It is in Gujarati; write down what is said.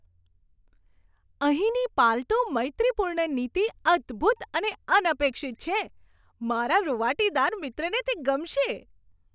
અહીંની પાલતુ મૈત્રીપૂર્ણ નીતિ અદ્ભૂત અને અનપેક્ષિત છે મારા રુંવાટીદાર મિત્રને તે ગમશે!